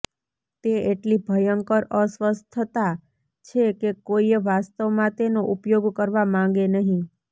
તે એટલી ભયંકર અસ્વસ્થતા છે કે કોઈએ વાસ્તવમાં તેનો ઉપયોગ કરવા માંગે નહીં